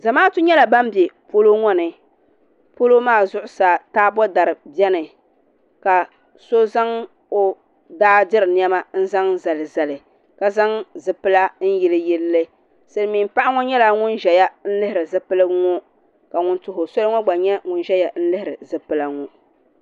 Zamaatu nyɛla ban bɛ polo ŋo ni polo maa zuɣusaa taabo dari biɛni ka so zaŋ o daa diri niɛma n zaŋ zalizali ka zaŋ zipila n yiliyilli silmiin paɣa ŋo nyɛla ŋun ʒɛya n lihiri zipilisi ŋo ka ŋun tuho soli ŋo gba nyɛ ŋun ʒɛya n lihiri zipila ŋo